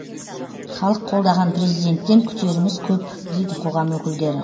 халық қолдаған президенттен күтеріміз көп дейді қоғам өкілдері